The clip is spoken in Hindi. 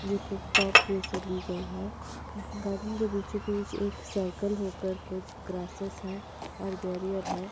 ये पिक टॉप पे से ली गई है गार्डन के बीचो बिच एक सर्कल होकर कुछ क्रोसेस है और बेरियर है।